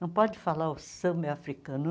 Não pode falar o samba é africano.